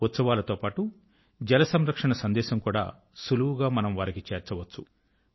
ఉత్సవాలతో పాటు జల సంరక్షణ సందేశం కూడా సులువుగా మనం వారికి చేర్చవచ్చు